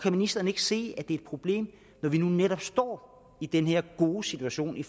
ministeren ikke se at det er problem når vi nu netop står i denne gode situation i